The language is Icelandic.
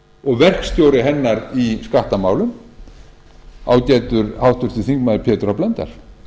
og verkstjóri hennar í skattamálum ágætur háttvirtur þingmaður pétur h blöndal